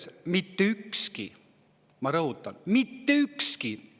– ja mitte ükski – ma rõhutan, mitte ükski!